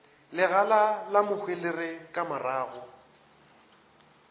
legala la mohwelere ka marago